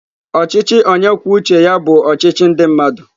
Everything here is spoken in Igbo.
Ọchịchị onye kwuo uche ya bụ ọchịchị ndị mmadụ.